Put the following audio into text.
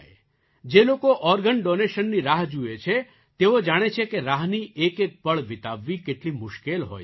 જે લોકો ઑર્ગન ડૉનેશનની રાહ જુએ છે તેઓ જાણે છે કે રાહની એકએક પળ વિતાવવી કેટલી મુશ્કેલ હોય છે